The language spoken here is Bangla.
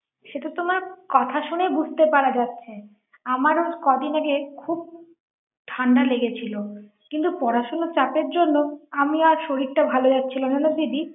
সে তো তোমার কথা শুনেই বুঝতে পারা যাচ্ছে আমারও কদিন আগে খুব ঠান্ডা লেগে ছিল কিন্তু পড়াশোনা চাপের জন্য আমি শরীরটা ভালো যাচ্ছিল না দিদি ৷